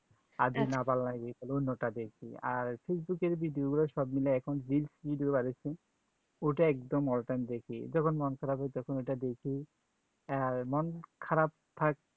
আর যদি না ভাল্লাগে তাহলে অন্য তা দেখি আর facebook এর video গুলা সবমিলে এখন reels বেরহচ্ছে ওটা একদম all time দেখি যখন মন খারাপ হয় তখন ঐটা দেখি আই মন খারাপ থাকে